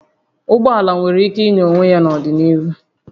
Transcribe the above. Ụgbọ ala nwere ike ịnya onwe ya n'ọdịnihu